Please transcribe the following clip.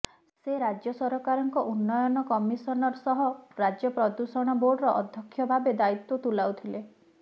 ସେ ରାଜ୍ୟ ସରକାରଙ୍କ ଉନ୍ନୟନ କମିଶନର ସହ ରାଜ୍ୟ ପ୍ରଦୁ୍ୟଷଣ ବୋର୍ଡର ଆଧ୍ୟକ୍ଷ ଭାବେ ଦାୟିତ୍ୱ ତୁଲାଉଥିଲେ